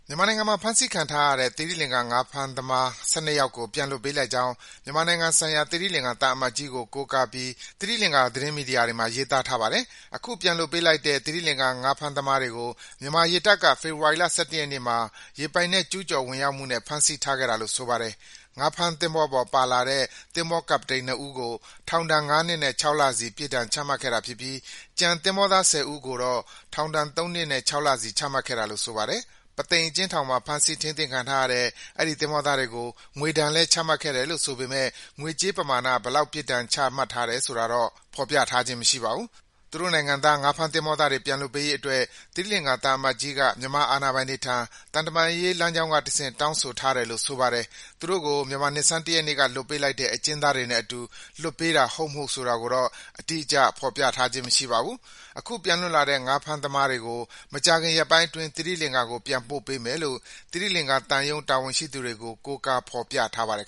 မြန်မာနိုင်ငံမှာ ဖမ်းဆီးထိန်းသိမ်းခံထားရတဲ့ သီရိလင်္ကာ ငါးဖမ်းသမား ၁၂ ယောက်ကို ပြန်လွှတ်ပေးလိုက်ကြောင်း မြန်မာနိုင်ငံဆိုင်ရာ သီရိလင်္ကာ သံအမတ်ကြီး ပြောတာကို ကိုးကားပြီး သတင်းမီဒီယာတွေမှာ ရေးသားထားပါတယ်။ အခုပြန်လွှတ်ပေးလိုက်တဲ့ သီရိလင်္ကာ ငါးဖမ်းသမားတွေကို မြန်မာရေတပ်က ဖေဖော်ဝါရီလ ၁၁ ရက်နေ့မှာ ရေပိုင်နက် ကျူးကျော်ဝင်ရောက်မှုနဲ့ ဖမ်းဆီးထားခဲ့တာလို့ ဆိုပါတယ်။ ငါးဖမ်းသင်္ဘောပေါ်ပါလာတဲ့ သင်္ဘောကပ္ပတိန် ၂ ဦးကို ထောင်ဒဏ် ၅ နှစ်နဲ့ ၆ လစီ ပြစ်ဒဏ်ချမှတ်ထားတာဖြစ်ပြီး ကျန်သင်္ဘောသား ၁၀ ဦးကိုတော့ ထောင်ဒဏ် ၃ နှစ်နဲ့ ၆ လစီ ချမှတ်ထားတာလို့ ဆိုပါတယ်။ ပုသိမ်အကျဉ်းထောင်မှာ ဖမ်းဆီးထိန်းသိမ်းထားတဲ့ အဲဒီသင်္ဘောသားတွေကို ငွေဒဏ်လည်း ချမှတ်ထားတယ်လို့ ဆိုပေမယ့် ငွေကြေးပမာဏ ဘယ်လောက် ပြစ်ဒဏ်ချမှတ်ထားတယ် ဆိုတာကိုတော့ ဖော်ပြထားခြင်း မရှိပါဘူး။ သူတို့နိုင်ငံသား ငါးဖမ်းသမားတွေ ပြန်လွှတ်ပေးရေးအတွက် သီရိလင်္ကာ သံအမတ်ကြီးက မြန်မာအာဏာပိုင်တွေထံ သံတမန်ရေး လမ်းကြောင်းကတဆင့် တောင်းဆိုထားတယ်လို့ ဆိုပါတယ်။ သူတို့ကို မြန်မာနှစ်ဆန်း ၁ ရက်နေ့က လွှတ်ပေးလိုက်တဲ့ အကျဉ်းသားတွေနဲ့အတူ လွှတ်ပေးတာ ဟုတ်မဟုတ်ကိုတော့ အတိအကျ ရေးသားထားခြင်း မရှိပါဘူး။ အခု ပြန်လွတ်လာတဲ့ ငါးဖမ်းသမားတွေကို မကြာခင်ရက်ပိုင်းအတွင်း သီရိလင်္ကာကို ပြန်ပို့ပေးမယ်လို့ သီရိလင်္ကာသံရုံး တာဝန်ရှိသူတွေကို ကိုးကား ဖော်ပြထားပါတယ်